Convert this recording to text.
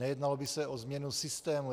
Nejednalo by se o změnu systému.